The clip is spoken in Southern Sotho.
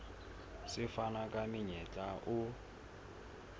se fana ka monyetla o